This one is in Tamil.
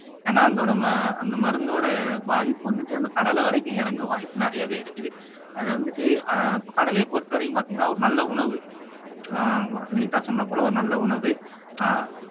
ஏன்னா அதோட ம அந்த மருந்தோட பாதிப்பு வந்துட்டு அந்த கடலை வரைக்கும் இறங்க வாய்ப்பு நிறையவே இருக்குது அதை வந்துட்டு ஆஹ் இப்ப கடலையை பொறுத்தவரையும் பாத்தீங்கன்னா ஒரு நல்ல உணவு ஆஹ் வினிதா சொன்னது போல ஒரு நல்ல உணவு ஆஹ்